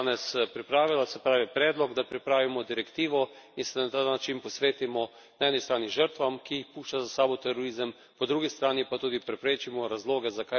Se pravi predlog, da pripravimo direktivo in se na ta način posvetimo na eni strani žrtvam, ki jih pušča za sabo terorizem, po drugi strani pa tudi preprečimo razloge, zakaj do terorizma sploh prihaja.